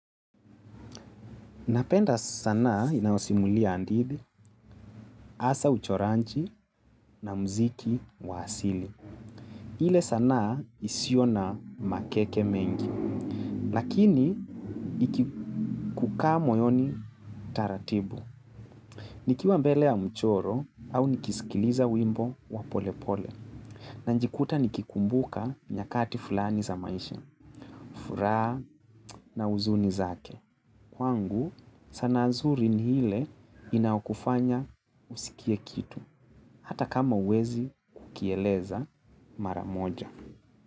Napenda sanaa inayosimulia handithi, hasa uchoranji na mziki wa asili. Hile sana isiyona makeke mengi. Lakini, ikikukaa moyoni taratibu. Nikiwa mbele ya mchoro au nikisikiliza wimbo wa polepole. Nanjikuta nikikumbuka nyakati fulani za maisha, furaha na huzuni zake. Kwangu, sanaa zuri ni ile inayokufanya usikie kitu. Hata kama huwezi kukieleza mara moja.